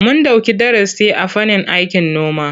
Mun ɗauki darasi a fannin aikin noma.